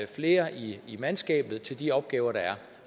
flere i mandskabet til de opgaver der er